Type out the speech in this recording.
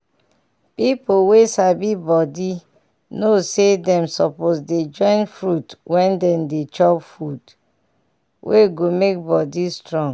pipu wey sabi body know say dem suposse dey join fruit when dem dey chop food wey go make body strong.